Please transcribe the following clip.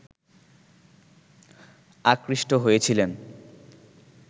আকৃষ্ট হয়েছিলেন